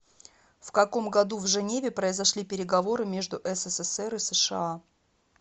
в каком году в женеве произошли переговоры между ссср и сша